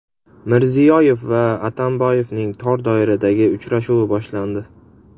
Mirziyoyev va Atamboyevning tor doiradagi uchrashuvi boshlandi.